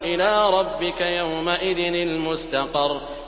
إِلَىٰ رَبِّكَ يَوْمَئِذٍ الْمُسْتَقَرُّ